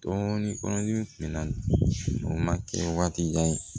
Dɔɔnin kɔnɔdimi kunna kɛ waati jan ye